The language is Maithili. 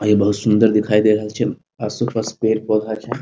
अ ये बहुत सुंदर दिखाई देय रहल छै आसो पास पेड़-पौधा छै।